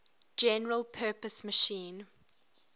general purpose machine